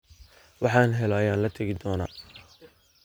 Waxan helo ayan latakidona.